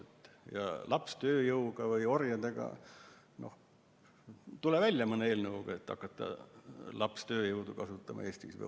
Mis puutub lapstööjõudu või -orjadesse – tule välja mõne eelnõuga, et hakata lapstööjõudu kasutama Eestis.